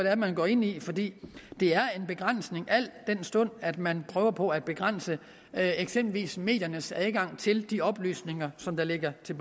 er man går ind i fordi det er en begrænsning al den stund at man prøver på at begrænse eksempelvis mediernes adgang til de oplysninger som ligger til